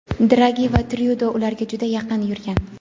Dragi va Tryudo ularga juda yaqin yurgan.